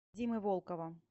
димы волкова